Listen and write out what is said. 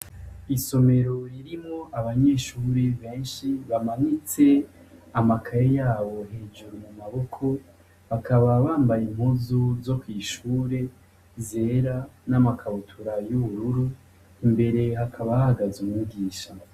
Isomero ririmo abanyeshuri benshi bamanitse amakaya yabo hejuru mu maboko bakaba bambaye imkuzu zo kw'ishure zera n'amakabutura y'ubururu imbere hakabahagaze umugisha.